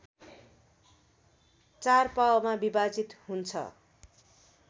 चार पाउमा विभाजित हुन्छ